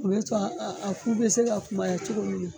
U bɛ to ku bɛ se ka kumaya cogo min na.